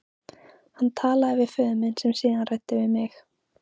Hann talaði við föður minn sem síðan ræddi við mig.